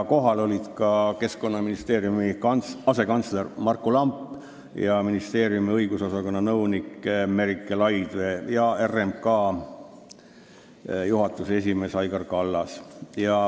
Kohal olid ka Keskkonnaministeeriumi asekantsler Marku Lamp, ministeeriumi õigusosakonna nõunik Merike Laidvee ja RMK juhatuse esimees Aigar Kallas.